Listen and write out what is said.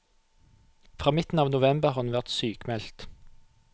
Fra midten av november har hun vært sykmeldt.